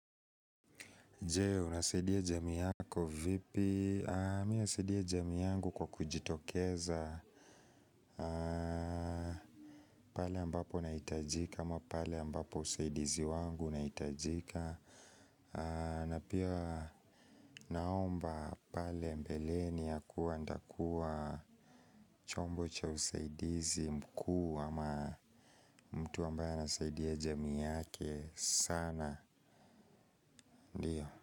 Je, unasaidia jamii yako vipi? Mimi nasaidia jamii yangu kwa kujitokeza. Pale ambapo nahitajika ama pale ambapo usaidizi wangu unahitajika. Na pia naomba pale mbeleni ya kuwa ntakuwa na chombo cha usaidizi mkuu wa ma mtu ambaye anasaidia jamii yake sana.